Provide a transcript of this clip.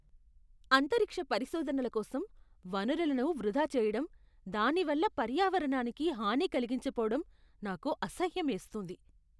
అంతరిక్ష పరిశోధనల కోసం వనరులను వృధా చేయడం, దాని వల్ల పర్యావరణానికి హాని కలిగించబోవడం నాకు అసహ్యమేస్తుంది.